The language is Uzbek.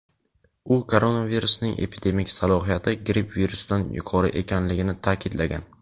u koronavirusning epidemik salohiyati gripp virusidan yuqori ekanligini ta’kidlagan.